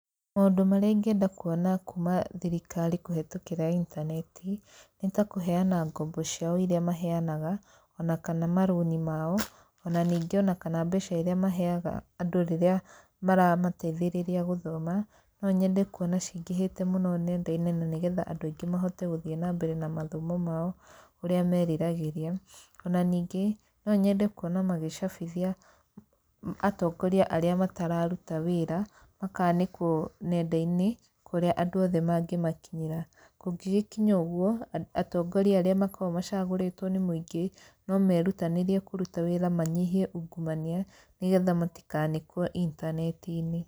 Maũndũ marĩa ingĩenda kuona kuuma thirikari kũhetũkĩra intaneti, nĩ ta kũheana ngombo ciao irĩa maheanaga, ona kana marũni mao, ona ningĩ ona kana mbeca irĩa maheaga andũ rĩrĩa maramateithĩrĩria gũthoma, no nyende kuona cingĩhĩte mũno nenda-inĩ na nĩ getha andũ aingĩ mahote gũthiĩ na mbere na mathomo mao ũrĩa meriragĩria. Ona ningĩ, no nyende kuona magĩcabithia atongoria arĩa matararuta wĩra, makanĩkwo nenda-inĩ kũrĩa andũ othe mangĩmakinyĩra. Kũngĩgĩkinya ũguo, atongoria arĩa makoragwo macagũrĩtwo nĩ mũingĩ no merutanĩrie kũruta wĩra manyihie ungumania nĩ getha matikanĩkwo intaneti-inĩ.